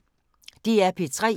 DR P3